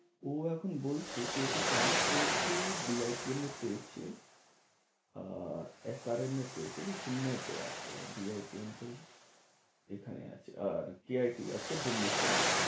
ও এখন বলছে কে ওকে chance পেয়েছে BITM এ পেয়েছে, আর SRM এ পেয়েছে ঐ যে চেন্নাইতে আছে আর BITM তো এখানে আছে, আর CIT আছে ভুবনেশ্বরের।